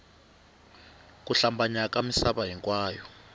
ku hlambanya ka misava hinkwayo